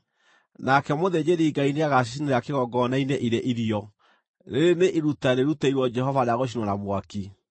Nake mũthĩnjĩri-Ngai nĩagacicinĩra kĩgongona-inĩ irĩ irio, rĩĩrĩ nĩ iruta rĩrutĩirwo Jehova rĩa gũcinwo na mwaki.